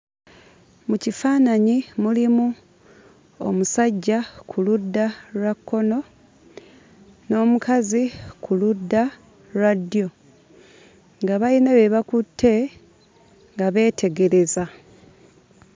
Mu kifaananyi mulimu omusajja ku ludda lwa kkono n'omukazi ku ludda lwa ddyo nga bayina bye bakutte nga beetegereza.